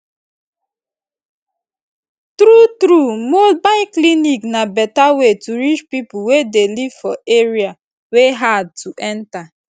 true true mobile clinic na better way to reach people wey dey live for area wey hard to enter